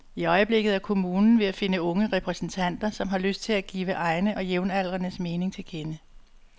I øjeblikket er kommunen ved at finde unge repræsentanter, som har lyst til at give egne og jævnaldrendes mening til kende.